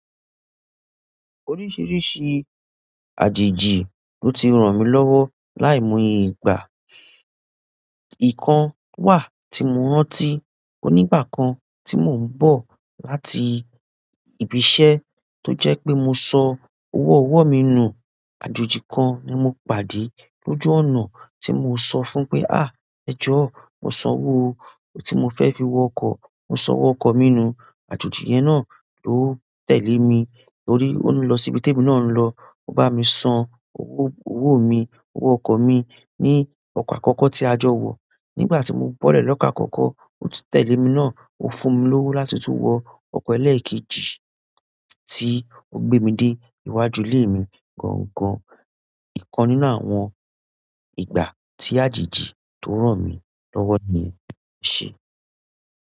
Oríṣiríṣi àjèjì ló ti ràn mí lọ́wọ́ láìmoye ìgbà. Ìkan wà tí mo rántí onígbà kan tí mò ń bọ̀ láti ibi-iṣẹ́ tó jẹ́ pé mo sọ owó ọwọ́ mi nù. Àjòjí kan ni mo pàdé lójú ọ̀nà tí mo sọ fún pé "àá, ẹjọ́ mọ́ sọ ọwọ́ owó tí mo fẹ́ fi wọ ọkọ̀, mọ́ sọ ọwọ́ ọkọ̀ mi nù." Àjòjí yẹn náà ló tẹ̀lé mi torí óun lọ sí ibi tí ebi náà ń lọ. Ó bá mi san owó owó mi, owó ọkọ̀ mi ní ọkọ̀ àkọ́kọ́ tí a jọ wọ̀. Nígbà tí mo bọ́ lẹ́ lọ́ko akoko, òtun tẹ̀lé mí náà, ó fún mi lówó láti tún wọ ọkọ̀ ẹlẹ́ẹ̀kejì tí ó gbé mi dé iwájú ilé mi gángan. Ìkan nínú àwọn ìgbà tí àjèjì tó ràn mí lọ́wọ́ ni yen e ṣe.